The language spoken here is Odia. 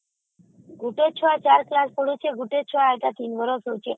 ଗୋଟେ ଛୁଆ ୪ class ପଢୁଛି ଆଉ ଗୋଟାକୁ ୩ ବର୍ଷ